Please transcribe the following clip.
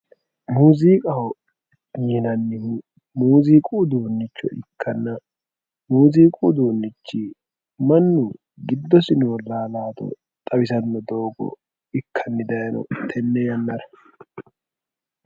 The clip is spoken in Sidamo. muuZiiqaho yinannihu muuZiiqu uduunicho ikkanna muuZiiqu uduunich mannu giddo noo laalaate xawisanno doogo ikkanni dayiino tene yannara.